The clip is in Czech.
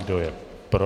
Kdo je pro?